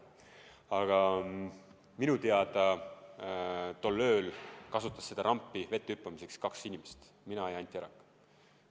Aga minu teada tol ööl kasutasid seda rampi vette hüppamiseks kaks inimest: mina ja Anti Arak.